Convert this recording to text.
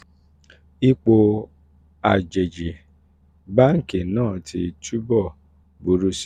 ipò àjèjì báńkì náà ti túbọ̀ buru si